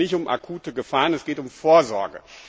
Es geht also nicht um akute Gefahren, es geht um Vorsorge.